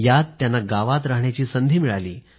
यात त्यांना गावात राहण्याची संधी मिळाली